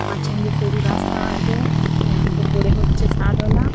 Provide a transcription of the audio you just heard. মাঝখান দিয়ে সরু রাস্তা আছে হ্যাঁ ওপরে হচ্ছে ছাদওলা।